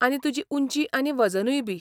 आनी तुजी उंची आनी वजनूय बी.